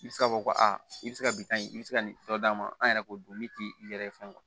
I bɛ se k'a fɔ ko aa i bɛ se ka bitɔn in i bɛ se ka nin dɔ d'a ma an yɛrɛ k'o dun min tɛ i yɛrɛ ye fɛn